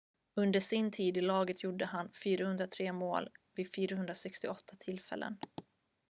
under sin tid i laget gjorde han 403 mål vid 468 tillfällen